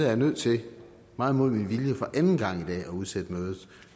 jeg nødt til meget imod min vilje for anden gang i dag at udsætte mødet